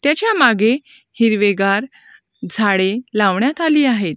त्याच्यामागे हिरवेगार झाडे लावण्यात आली आहेत.